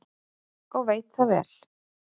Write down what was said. Og veit það vel.